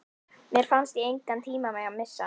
Mér fannst ég engan tíma mega missa.